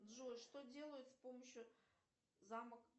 джой что делать с помощью замок